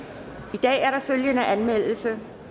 dag er der følgende anmeldelse